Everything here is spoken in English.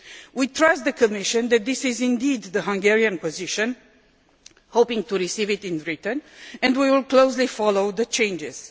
We trust the Commission that this is indeed the Hungarian position, hoping to receive it in writing, and we will closely follow the changes.